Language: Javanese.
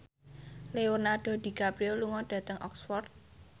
Leonardo DiCaprio lunga dhateng Oxford